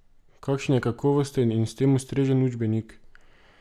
Kakšen je kakovosten in s tem ustrezen učbenik?